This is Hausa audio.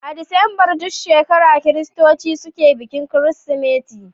A Disambar duk shekara kiristoci suke bikin kirsimeti.